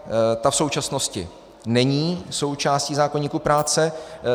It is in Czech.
Ta v současnosti není součástí zákoníku práce.